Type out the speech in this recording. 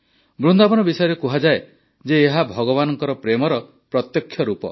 ବୃନ୍ଦାବନ ବିଷୟରେ କୁହାଯାଏ ଯେ ଏହା ଭଗବାନଙ୍କ ପ୍ରେମର ପ୍ରତ୍ୟକ୍ଷ ରୂପ